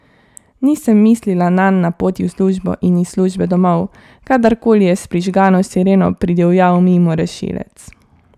Nisem mislila nanj na poti v službo in iz službe domov, kadar koli je s prižgano sireno pridivjal mimo rešilec.